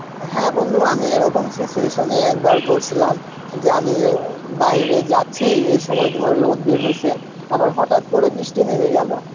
হ্যাঁ বন্ধু আমি এরকম situation এ একবার পড়ছিলাম, যে আমি অ্যাঁ ও বাইরে যাচ্ছি, এই সময় তোমার রোধ বের হইসে, আবার হটাত করে বৃষ্টি নেবে গেল,